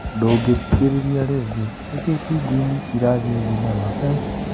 Ndũngĩthikĩrĩria rĩngĩ nĩkĩĩ Pingwini ici ĩrathiĩ thinema?